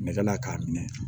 Nɛgɛ la k'a minɛ